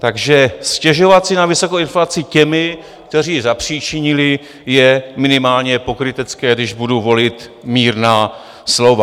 Takže stěžovat si na vysokou inflaci těmi, kteří ji zapříčinili, je minimálně pokrytecké, když budu volit mírná slova.